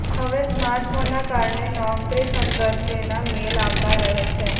હવે સ્માર્ટ ફોનના કારણે નોકરી સંદર્ભેના મેલ આવતા રહે છે